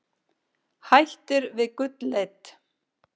Hættir við gullleit